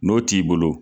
N'o t'i bolo